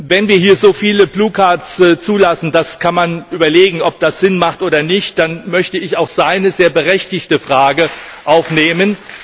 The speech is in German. Wenn wir hier so viele blaue Karten zulassen man kann überlegen, ob das sinnvoll ist oder nicht dann möchte ich auch seine sehr berechtigte Frage aufnehmen.